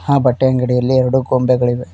ಹಾ ಬಟ್ಟೆ ಅಂಗಡಿಯಲ್ಲಿ ಎರಡು ಬಂಡೆಗಳಿವೆ.